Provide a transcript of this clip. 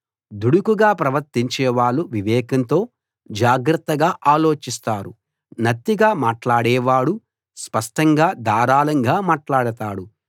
దుడుకుగా ప్రవర్తించేవాళ్ళు వివేకంతో జాగ్రత్తగా ఆలోచిస్తారు నత్తిగా మాట్లాడేవాడు స్పష్టంగా ధారాళంగా మాట్లాడతాడు